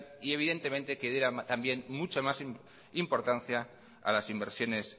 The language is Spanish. y evidentemente que debiera también mucho más importancia a las inversiones